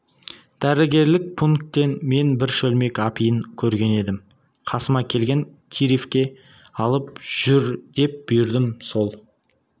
дәрігерлік пункттен мен бір шөлмек апиын көрген едім қасыма келген киреевке алып жүр деп бұйырдым сол